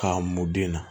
K'a mun den na